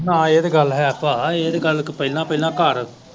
ਹਾਂ ਇਹ ਤੇ ਗੱਲ ਹੈ ਭਾ ਇਹ ਤੇ ਗੱਲ ਇੱਕ ਪਹਿਲਾ ਪਹਿਲਾ ਘਰ।